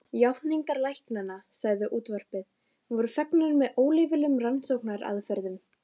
Játningar læknanna, sagði útvarpið, voru fengnar með óleyfilegum rannsóknaraðferðum.